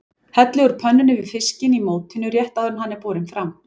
Hellið úr pönnunni yfir fiskinn í mótinu rétt áður en hann er borinn fram.